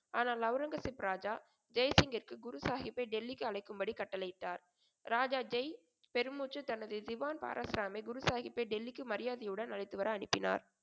ஆனால் ஒளரங்கசீப் ராஜா ஜெய்சிங்கிற்கு குரு சாகிப்பை டெல்லிக்கு அழைக்கும்படி கட்டளையிட்டார். ராஜா ஜெய் பெருமூச்சு தனது திவான் பாராஸ்ராமை குருசாகிப்பை டெல்லிக்கு மரியாதையுடன் அழைத்துவர அனுப்பினார்.